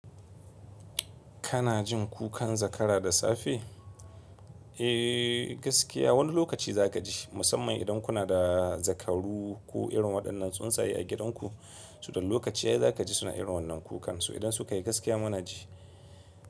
Kana jin kukan zakara da safe? Eh, gaskiya wani lokaci za ka ji, musamman idan kuna da zakaru ko irin waɗannan tsuntsaye a gidanku. So da lokaci yayi za ka ji suna irin wannan kukan so idan sukayi gaskiya mana ji.